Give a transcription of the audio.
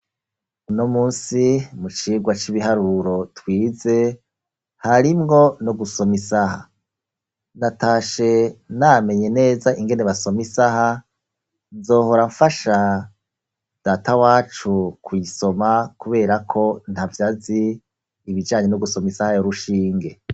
Uno musi mu cirwa c'ibiharuro twize harimbwo no gusoma isaha natashe namenye neza ingene basoma isaha nzohora mfasha data wacu ku'isoma kuberako nta vyazi ibijanye no gusoma isaha yo rushingwa.